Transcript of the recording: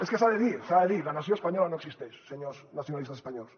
és que s’ha de dir s’ha de dir la nació espanyola no existeix senyors nacionalistes espanyols